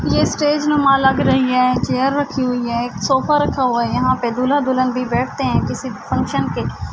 یہ اسٹیج نما لگ رہی ہے۔ چیر رکھی ہوئی ہے. ایک سوفی رکھا ہوا ہے۔ یہا پی دولہا دلہن بھی بیٹھتے ہے کسی فنکشن پی--